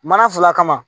Mana fila kama